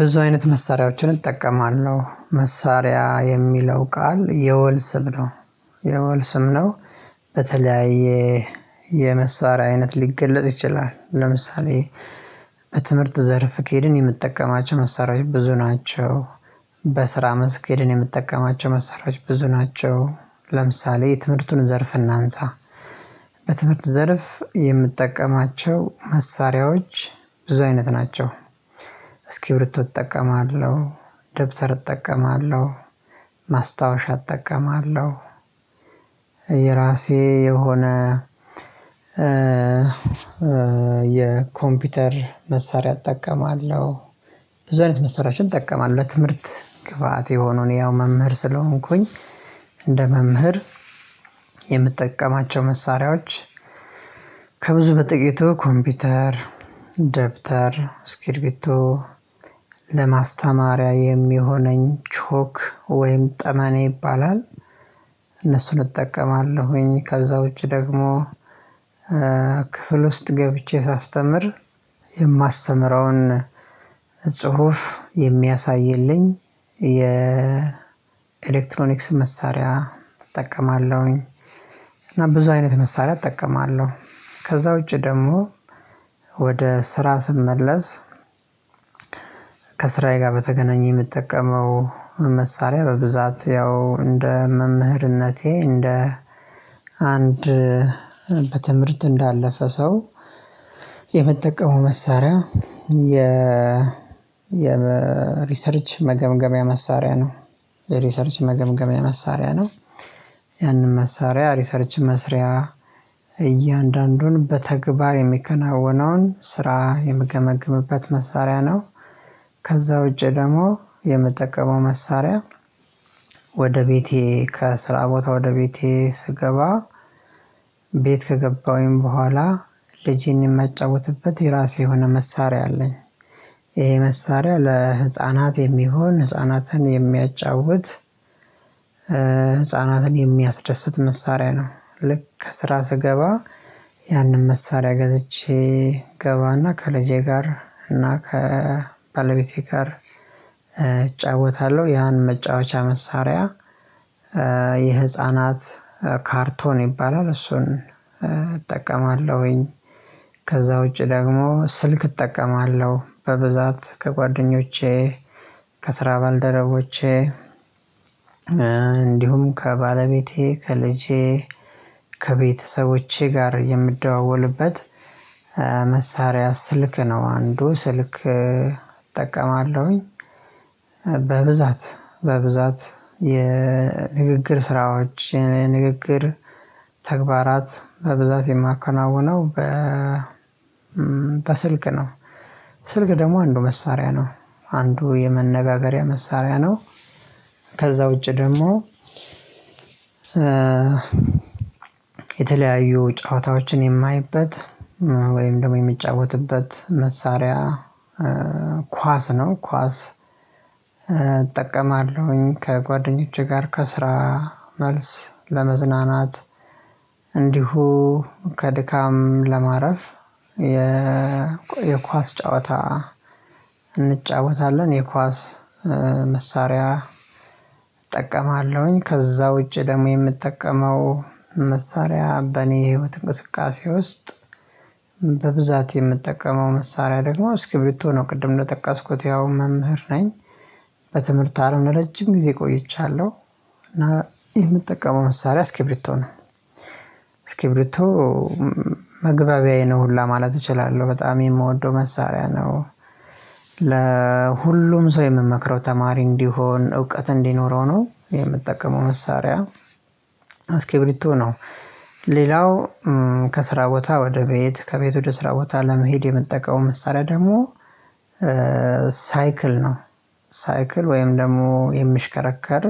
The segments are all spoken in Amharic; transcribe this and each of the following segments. ብዙ አይነት መሳሪያዎችን እጠቀማለሁ መሳሪያ የሚለው ቃል የወል ስም ነው የወልስም ነው። በተለያየ የመሳሪያ አይነት ሊገለጽ ይችላል። ለምሳሌ በትምህርት ዘርፍ ከሄድን የምትጠቀማቸው መሳሪያዎች ብዙ ናቸው። በስራ መስክ ሄድን የምጠቀማቸው መሳሪያዎች ብዙ ናቸው። ለምሳሌ የትምህርቱን ዘርፍ እናንሳ በትምህርት ዘርፍ የምጠቀማቸው መሳሪያዎች ብዙ አይነት ናቸው። እስክብሪቶ እጠቀማለሁ ደብተር እጠቀማለሁ ማስታወሻ እጠቀማለሁ። የራሴ የሆነ የኮምፒውተር መሳሪያ እጠቀማለሁ። ብዙ አይነት መሳሪያችን እጠቀማለሁ ለትምህርት ግብአት የሆነውን እኔ ያው መምህር ስለሆንኩኝ። እንደ መምህር የምጠቀማቸው መሳሪያዎች ከብዙ በጥቂቱ ኮምፒውተር ደብተር እስክብሪቶ ለማስተማሪያ የሚሆነኝ ቾክ ወይም ጠመኔ ይባላል። እነሱን እጠቀማለሁኝ ከዛ ውጪ ደግሞ ክፍል ውስጥ ገብቼ ሳስተምር የማስተምረውን ጽሁፍ የሚያሳይልኝ የ ኤሌክትሮኒክስ መሳሪያ እጠቀማለሁኝ። እና ብዙ አይነት መሳሪያ እጠቀማለሁ። ከዛ ውጪ ደግሞ ወደ ስራ ስመለስ። ከሥራዬ ጋር በተገናኘ የምጠቀመው መሳሪያ በብዛት ያው እንደ መምህርነቴ እንደ አንድ በትምህርት እንዳለፈ ሰው የምጠቀመው መሳሪያ የ የሪሰርች መገምገሚያ መሳሪያ ነው። የሪሰርች መገምገሚያ መሳሪያ ነው። ያንን መሳሪያ ሪሰርች መስሪያ እያንዳንዱን በተግባር የሚከናወነውን ስራ የምገመግምበት መሳሪያ ነው። ከዛ ውጪ ደግሞ የምጠቀመው መሳሪያ። ወደ ቤቴ ከስራ ቦታ ወደ ቤቴ ስገባ ቤት ከገባሁኝ በኋላ ልጄን የማጫውትበት የራሴ የሆነ መሳሪያ አለኝ። ይሄ መሳሪያ ለህፃናት የሚሆን ህፃናትን የሚያጫውት ህፃናትን የሚያስደስት መሳሪያ ነው። ልክ ከስራ ስገባ ያንን መሳሪያ ገዝቼ እገባና ከልጄ ጋር እና ከባለቤቴ ጋር እጫወታለሁ ያን መጫወቻ መሳሪያ። የህፃናት ካርቶን ይባላል እሱን እጠቀማለሁኝ። ከዛ ውጪ ደግሞ ስልክ እጠቀማለሁ በብዛት ከጓደኞቼ ከስራ ባልደረቦቼ። እንዲሁም ከባለቤቴ ከልጄ ከቤተሰቦቼ ጋር የምደዋወልበት መሳሪያ ስልክ ነው አንዱ ስልክ እጠቀማለሁኝ። በብዛት በብዛት የንግግር ስራዎችን የንግግር ተግባራት በብዛት የማከናውነው በ በስልክ ነው። ስልክ ደግሞ አንዱ መሳሪያ ነው። አንዱ የመነጋገሪያ መሳሪያ ነው። ከዛ ውጪ ደግሞ የተለያዩ ጨዋታዎችን የማይበት ወይም ደግሞ የምጫወትበት መሳሪያ። ኳስ ነው ኳስ እጠቀማለሁኝ ከጓደኞቼ ጋር ከስራ መልስ ለመዝናናት እንዲሁ ከድካም ለማረፍ የ የኳስ ጨዋታ እንጫወታለን የኳስ መሳሪያ እጠቀማለሁኝ። ከዛ ውጪ ደግሞ የምጠቀመው መሳሪያ በእኔ የህይወት እንቅስቃሴ ውስጥ በብዛት የምጠቀመው መሳሪያ ደግሞ እስክብሪቶ ነው ቅድም እንደጠቀስኩት ያው መምህር ነኝ። በትምህርት አለም ለረጅም ጊዜ ቆይቻለሁ። እና የምጠቀመው መሳሪያ እስክብሪቶ ነው እስክብሪቶ መግባቢያዬ ነው ሁላ ማለት እችላለሁ በጣም የምወደው መሳሪያ ነው። ለሁሉም ሰው የምመክረው ተማሪ እንዲሆን እውቀት እንዲኖረው ነው የምጠቀመው መሳሪያ እስክብሪቶ ነው። ሌላው ከስራ ቦታ ወደ ቤት ከቤት ወደ ስራ ቦታ ለመሄድ የምጠቀመው መሳሪያ ደግሞ ሳይክል ነው። ሳይክል ወይም ደግሞ የሚሽከረከር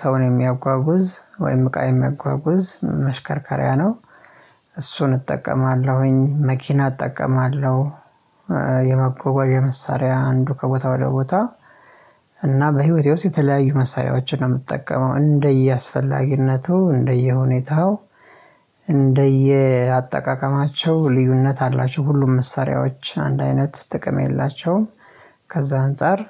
ሰውን የሚያጓጉዝ ወይም እቃ የሚያጓጉዝ መሽከርከሪያ ነው። እሱን እጠቀማለሁኝ መኪና እጠቀማለሁ። የመጓጓዣ መሳሪያ አንዱ ከቦታ ወደ ቦታ። እና በህይወቴ ውስጥ የተለያዩ መሳሪያዎችን ነው የምትጠቀመው እንደየአስፈላጊነቱ እንደየሁኔታው እንደየአጠቃቀማቸው ልዩነት አላቸው ሁሉም መሳሪያዎች አንድ አይነት ጥቅም የላቸውም። ከዛ አንፃር